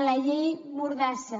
a la llei mordassa